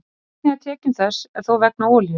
Megnið af tekjum þess er þó vegna olíu.